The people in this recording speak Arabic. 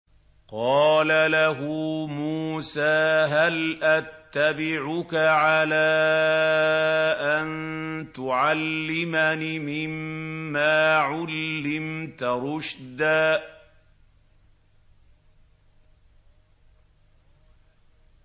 قَالَ لَهُ مُوسَىٰ هَلْ أَتَّبِعُكَ عَلَىٰ أَن تُعَلِّمَنِ مِمَّا عُلِّمْتَ رُشْدًا